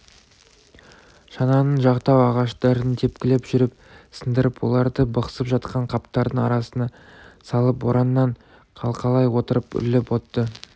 шананың жақтау ағаштарын тепкілеп жүріп сындырып оларды бықсып жатқан қаптардың арасына салып бораннан қалқалай отырып үрлеп отты